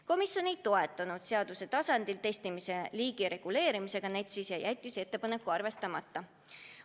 Komisjon ei toetanud seaduse tasandil testimise liigi reguleerimist NETS-is ja jättis ettepaneku arvestamata.